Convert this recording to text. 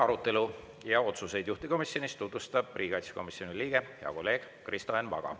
Arutelu ja otsuseid juhtivkomisjonis tutvustab riigikaitsekomisjoni liige, hea kolleeg Kristo Enn Vaga.